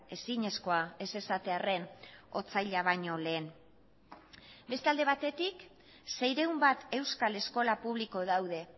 ezinezkoa ez esatearren otsaila baino lehen beste alde batetik seiehun bat euskal eskola publiko daude